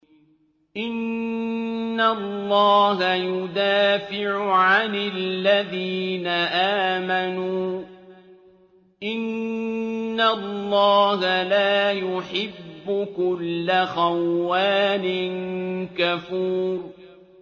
۞ إِنَّ اللَّهَ يُدَافِعُ عَنِ الَّذِينَ آمَنُوا ۗ إِنَّ اللَّهَ لَا يُحِبُّ كُلَّ خَوَّانٍ كَفُورٍ